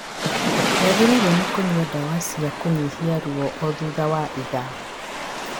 Nĩagĩrĩirwo nĩ kũnyua ndawa cia kũnyihia ruo o thutha wa itha